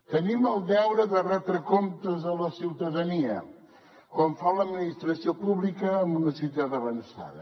tenim el deure de retre comptes a la ciutadania com fa l’administració pública en una societat avançada